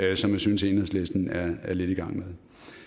jeg synes enhedslisten er lidt i gang med